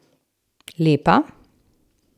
Lepa.